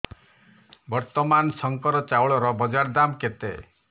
ବର୍ତ୍ତମାନ ଶଙ୍କର ଚାଉଳର ବଜାର ଦାମ୍ କେତେ